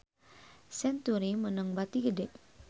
Century meunang bati gede